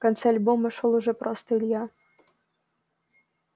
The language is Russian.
в конце альбома шёл уже просто илья